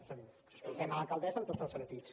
és a dir escoltem l’alcaldessa en tots els sentits